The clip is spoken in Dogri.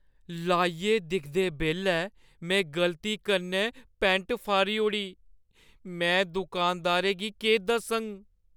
लाइयै दिखदे बेल्लै में गलती कन्नै पैंट फाड़ी ओड़ी। में दुकानदारै गी केह् दस्सङ?